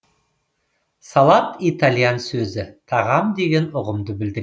салат итальян сөзі тағам деген ұғымды білдіреді